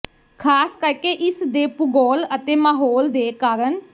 ਖ਼ਾਸ ਕਰਕੇ ਇਸ ਦੇ ਭੂਗੋਲ ਅਤੇ ਮਾਹੌਲ ਦੇ ਕਾਰਨ